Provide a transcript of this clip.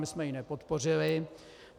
My jsme ji nepodpořili.